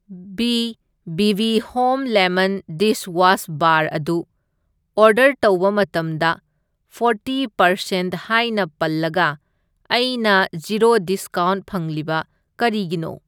B B B home lemon dishwash bar ꯑꯗꯨ order ꯇꯧꯕ ꯃꯇꯝꯗ ꯐꯣꯔꯇꯤ ꯃꯔꯁꯦꯟꯠ ꯍꯥꯏꯅ ꯄꯜꯂꯒ ꯑꯩꯅ ꯖꯤꯔꯣ ꯗꯤꯁꯀꯥꯎꯟꯠ ꯐꯪꯂꯤꯕ ꯀꯔꯤꯒꯤꯅꯣ?